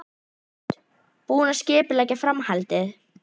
Hrund: Búinn að skipuleggja framhaldið?